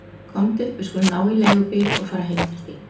Komdu, við skulum ná í leigubíl og fara heim til þín.